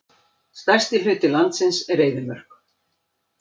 Stærsti hluti landsins er eyðimörk.